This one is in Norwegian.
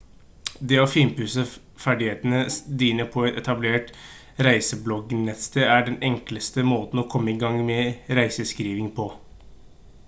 det å finpusse ferdighetene dine på et etablert reisebloggnettsted er den enkleste måten å komme i gang med reiseskriving på